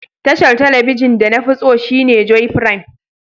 Tashar telibijin de na fi tso shine Joy Prime.